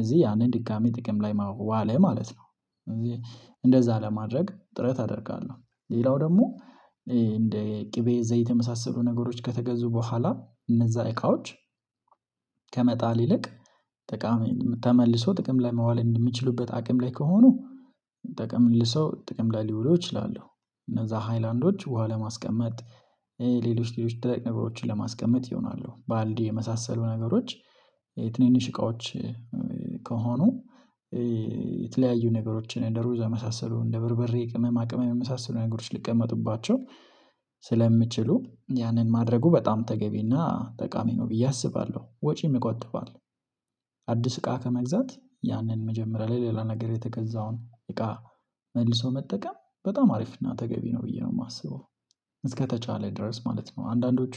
እዚህ ያንን ድጋሚ ጥቅም ላይ ዋለ ማለት ነው እዚህ እንደዛ ለማድረግ ጥረት አደርጋለሁ ሌላው ደግሞ እንደ ቅቤ ዘይት የመሳሰሉ ነገሮች ከተገዙ በኋላ እነዛ እቃዎች ከመጣል ይልቅ ጠቃሚ ተመልሰው ጥቅም ላይ መዋል የሚችሉበት አቅም ላይ ከሆኑ ጠቀም ልል ሰው ጥቅም ላይ ሊውለሉ ይችላሉ እነዛ ሃይላንዶች ውሃ ለማስቀመጥ ሌሎች ሌሎች ደረቅ ነገሮችን ለማስቀመጥ ይሆናሉ ባልዲ የመሳሰሉ ነገሮች የትንንሽ እቃዎች ከሆኑ የተለያዩ ነገሮችን እንደ ሩዝ የመሳሰሉ እንደ በርበሬ ቅመማ ቅመም የመሳሰሉ ነገሮች ሊቀመጡባቸው ስለሚችሉ ያንን ማድረጉ በጣም ተገቢና ጠቃሚ ነው ብዬ አስባለሁ ወጪ የምትቆጥበው አዲስ እቃ ከመግዛት ያንን መጀመሪያ ላይ ለሌላ ነገር የተገዛውን እቃ መልሶ መጠቀም በጣም አሪፍ እና ተገቢ ነው ብዬ ነው የማስበው። እስከተቻለ ድረስ ማለት ነው አንዳንዶቹ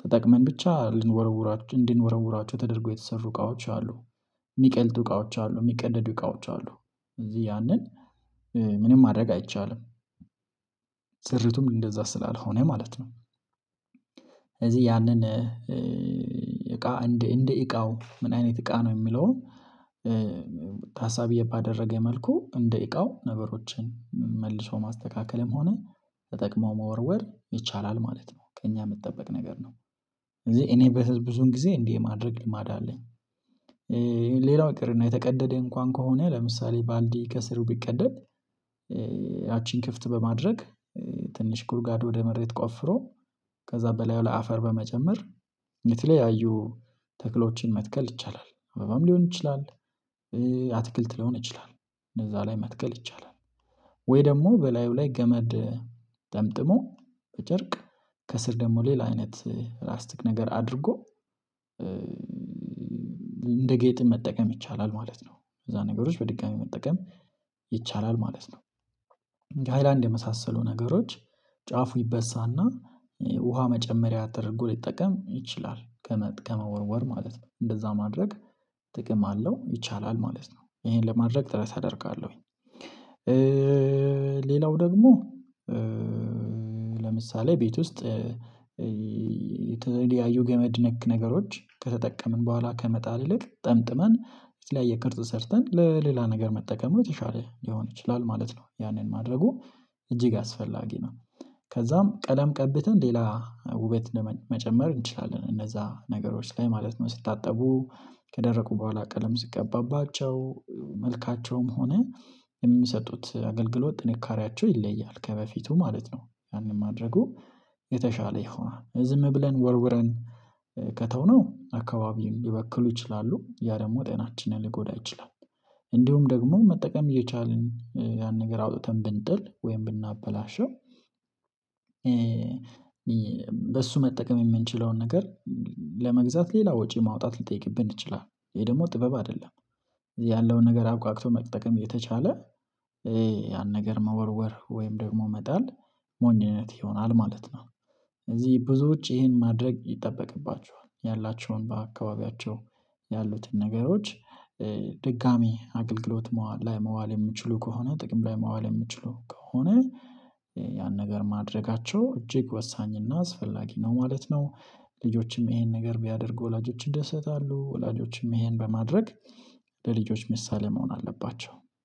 ተጠቅመን ብቻ ልንወረውራቸው እንዲንወረውራቸው ተደርጎ የተሰሩ እቃዎች አሉ የሚቀልጡ እቃዎች አሉ የሚቀደዱ እቃዎች አሉ እዚህ ያንን ምንም ማድረግ አይቻልም ስሪቱም እንደዛ ስላልሆነ ማለት ነው እዚህ ያንን እቃ እንደ እንደ እቃው ምን አይነት እቃ ነው የሚለው ታሳቢ ባደረገው መልኩ እንደ እቃው ነገሮችን መልሶ ማስተካከልም ሆነ ተጠቅሞ መወርወር ይቻላል ማለት ነው ከእኛ የሚጠበቅ ነገር ነው። እኔ በብዙን ጊዜ እንዲህ የማድረግ ልማድ አለኝ። ሌላው ይቀርና የተቀደደ እንኳን ከሆነ ለምሳሌ ባልዲ ከስሩ ቢቀደል ያቺን ክፍት በማድረግ ትንሽ ጉርጓድ ወደ መሬት ቆፍሮ ከዛ በላይ ለአፈር በመጨመር የተለያዩ ተክሎችን መትከል ይቻላል አበባም ሊሆን ይችላል አትክልት ሊሆን ይችላል እነዛ ላይ መትከል ይቻላል ወይ ደግሞ በላዩ ላይ ገመድ ጠምጥሞ በጨርቅ ከስር ደግሞ ሌላ አይነት ላስቲክ ነገር አድርጎ እንደ ጌጥም መጠቀም ይቻላል ማለት ነው እዛ ነገሮች በድጋሚ መጠቀም ይቻላል ማለት ነው እንደ ሃይላንድ የመሳሰሉ ነገሮች ጫፉ ይበሳና ውሃ መጨመሪያ ተደርጎ ሊጠቀም ይችላል ከመወርወር ማለት ነው እንደዛ ማድረግ ጥቅም አለው ይቻላል ማለት ነው። ይሄን ለማድረግ ጥረት አደርጋለሁኝ። ሌላው ደግሞ ለምሳሌ ቤት ውስጥ የተለያዩ ገመድ ነክ ነገሮች ከተጠቀምን በኋላ ከመጣል ይልቅ ጠምጥመን የተለያየ ቅርጽ ሰርተን ለሌላ ነገር መጠቀም የተሻለ ሊሆን ይችላል ማለት ነው ያንን ማድረጉ እጅግ አስፈላጊ ነው። ከዛም ቀለም ቀብተን ሌላ ውበት ለመጨመር እንችላለን እነዛ ነገሮች ላይ ማለት ነው ስታጠቡ ከደረቁ በኋላ ቀለም ስትቀባባቸው መልካቸውም ሆነ የሚሰጡት አገልግሎት ጥንካሬያቸው ይለያል ከበፊቱ ማለት ነው ያንን ማድረጉ የተሻለ ይሆናል ዝም ብለን ወርውረን ከተውነው አካባቢውን ሊበክሉ ይችላሉ ያ ደግሞ ጤናችንን ሊጎዳ ይችላል እንዲሁም ደግሞ መጠቀም እየቻልን ያን ነገር አውጥተን ብንጥል ወይም ብናበላሸው በሱ መጠቀም የምንችለውን ነገር ለመግዛት ሌላ ወጪ ማውጣት ልትጠይቅብን ትችላለህ ይሄ ደግሞ ጥበብ አይደለም ያለውን ነገር አብቋቃቅቶ መጠቀም እየተቻለ ያን ነገር መወርወር ወይም ደግሞ መጣል ሞኝነት ይሆናል ማለት ነው እዚህ ብዙዎች ይሄን ማድረግ ይጠበቅባቸዋል ያላቸውን በአካባቢያቸው ያሉትን ነገሮች አገልግሎት ላይ መዋል የምችሉ ከሆነ ጥቅም ላይ መዋል የምችሉ ከሆነ ያን ነገር ማድረጋቸው እጅግ ወሳኝ እና አስፈላጊ ነው ማለት ነው ልጆችም ይሄን ነገር ቢያደርጉ ወላጆች ይደሰታሉ ወላጆችም ይሄን በማድረግ ለልጆች ምሳሌ መሆን አለባቸው